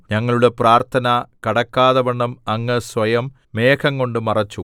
ഞങ്ങളുടെ പ്രാർത്ഥന കടക്കാതവണ്ണം അങ്ങ് സ്വയം മേഘംകൊണ്ട് മറച്ചു